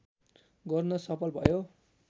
गर्न सफल भयो